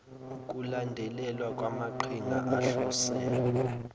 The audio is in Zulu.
ukulandelelwa kwamaqhinga ahlose